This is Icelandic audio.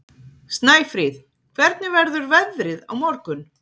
Snæfríð, hvernig verður veðrið á morgun?